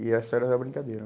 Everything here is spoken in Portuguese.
E essa era a brincadeira.